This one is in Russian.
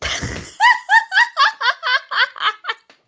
ха-ха-ха